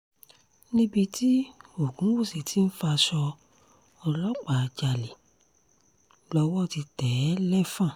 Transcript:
níbi tí ògúnwúsì tí ń faṣọ ọlọ́pàá jalè lọ́wọ́ ti tẹ̀ ẹ́ lẹ́fọ́n